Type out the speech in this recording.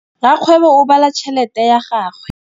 Rakgwêbô o bala tšheletê ya gagwe.